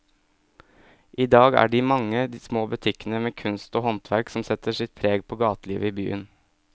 I dag er det de mange små butikkene med kunst og håndverk som setter sitt preg på gatelivet i byen.